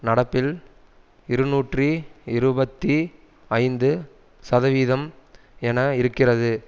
நடப்பில் இருநூற்றி இருபத்தி ஐந்து சதவீதம் என இருக்கிறது